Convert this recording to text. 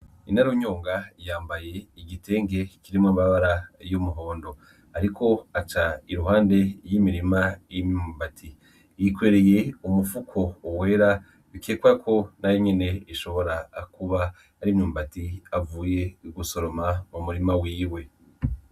Inarunyonga yambaye igitenke kirimwa ambabara y'umuhondo, ariko aca iruhande y'imirima y'imyumbati yikwereye umupfuko owera bikekwako na nyene ishobora akuba arimyumbati avuye ugusoroma mu murima wiwe.